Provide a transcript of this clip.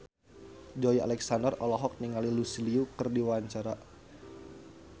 Joey Alexander olohok ningali Lucy Liu keur diwawancara